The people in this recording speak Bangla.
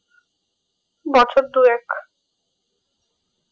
বছর দু এক